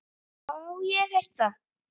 Já, ég hef heyrt það.